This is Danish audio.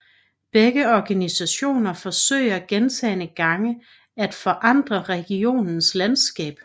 Begge organisationer forsøger gentagende gange atforandre regionens landskab